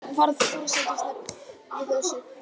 Varð forsætisnefnd við þessu